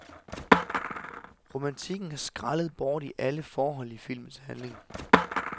Romantikken er skrællet bort i alle forhold i filmens handling.